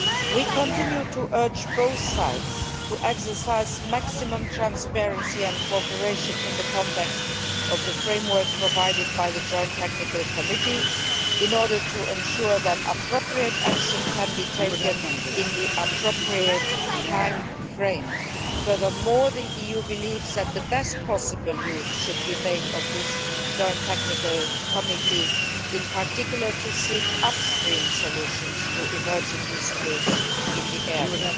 We continue to urge both sides to exercise maximum transparency and cooperation in the context of the framework provided by the Joint Technical Committee, in order to ensure that appropriate action can be taken in the appropriate timeframe. Furthermore, the EU believes that the best possible use should be made of the Joint Technical Committee, in particular to seek upstream solutions to emerging disputes in this area.